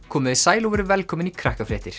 komiði sæl og verið velkomin í